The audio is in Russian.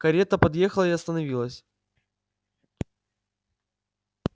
карета подъехала и остановилась